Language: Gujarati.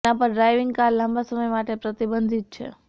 તેના પર ડ્રાઇવિંગ કાર લાંબા સમય માટે પ્રતિબંધિત છે